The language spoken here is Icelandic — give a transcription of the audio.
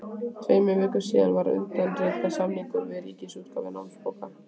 Tveimur vikum síðar var undirritaður samningur við Ríkisútgáfu námsbóka.